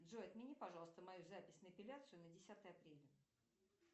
джой отмени пожалуйста мою запись на эпиляцию на десятое апреля